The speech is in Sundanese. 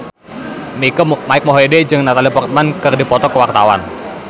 Mike Mohede jeung Natalie Portman keur dipoto ku wartawan